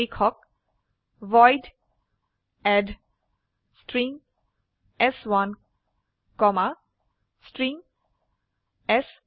লিখক void add string চ1 comma string চ2